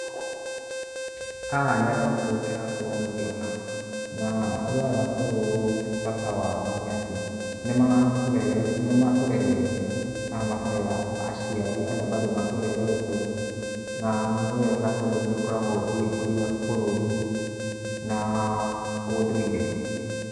Haha nĩ andũ akũrũ ndĩrakorwo ngĩona. Na andũ aya akũrũ bata wao nĩ atĩ, nĩmatũrerete kana makarera aciari arĩa bado matũrerete na nĩ wega tondũ nĩ ĩkoragwo ĩgĩkũria bũrũri na ũndũire.